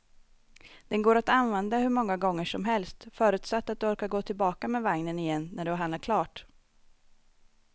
Den går att använda hur många gånger som helst, förutsatt att du orkar gå tillbaka med vagnen igen när du har handlat klart.